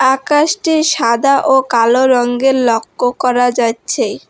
আকাশটি সাদা ও কালো রঙ্গের লক্ষ্য করা যাচ্ছে।